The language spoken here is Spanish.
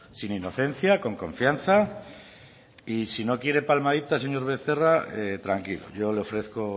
sin inocencia con confianza y si no quiere palmaditas señor becerra tranquilo yo le ofrezco